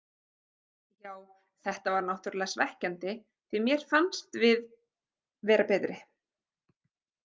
Já þetta var náttúrlega svekkjandi því mér fannst við vera betri.